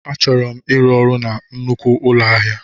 Achọrọ m ịrụ ọrụ na nnukwu ụlọ ahịa.